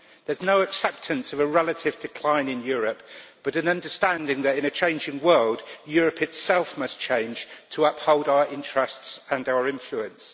There is no acceptance of a relative decline in Europe, but rather an understanding that, in a changing world, Europe itself must change to uphold our interests and our influence.